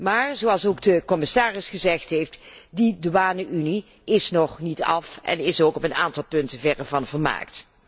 Maar, zoals ook de commissaris gezegd heeft, die douane unie is nog niet af en is ook op een aantal punten verre van volmaakt.